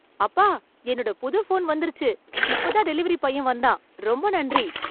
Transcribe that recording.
அப்பா என்னோட புது போன் வந்துருச்சு இப்ப தான் டெலிவரி பையன் வந்தான் ரொம்ப நன்றி